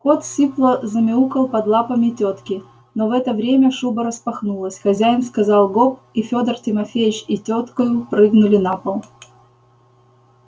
кот сипло замяукал под лапами тётки но в это время шуба распахнулась хозяин сказал гоп и фёдор тимофеич и тёткою прыгнули на пол